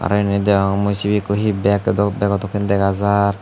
aro indi deong mui sibe ekko he bag edok bago dokke dega jar.